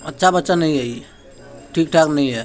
अच्छा बच्चा नहीं है ई ठीक ठाक नहीं है।